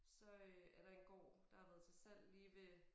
Så øh er der en gård der har været til salg lige ved